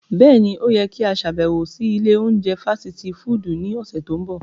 Bẹ́ẹ̀ni, o yẹ ki a ṣabẹwo si ile ounjẹ fasiti fudu ni ọsẹ to nbọ.